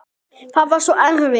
Það var svo erfitt.